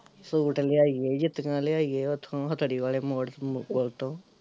suit ਲਿਆਈਏ ਜੁੱਤੀਆਂ ਲਿਆਈਏ ਓਥੋਂ ਹਥੜੀ ਵਾਲੇ ਮੋੜ ਪੁਲ ਤੋਂ